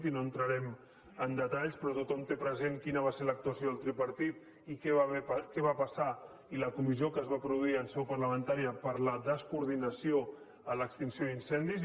i no entrarem en detalls però tothom té present quina va ser l’actuació del tripartit i què va passar i la comissió que es va produir en seu parla·mentària per la descoordinació en l’extinció d’incen·dis